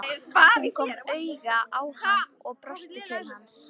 Hún kom auga á hann og brosti til hans.